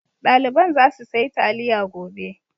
Ɗaliban za suyi taliya gobe.